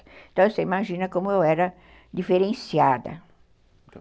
Então, você imagina como eu era diferenciada.